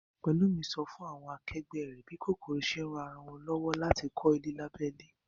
Pẹ̀lúmi sọ fún àwọn akẹgbẹ́ rẹ̀ bí kòkòrò ṣe ń ran ara wọn lọ́wọ́ láti kọ́ ilé lábẹ́ ilẹ̀